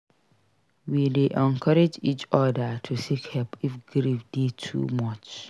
We dey encourage each oda to seek help if grief dey too much.